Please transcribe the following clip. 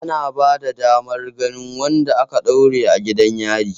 Ana bada damar ganin wanda aka ɗaure a gidan yari